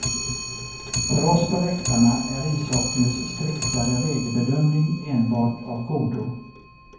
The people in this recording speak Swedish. För oss på läktarna är ishockeyns striktare regelbedömning enbart av godo.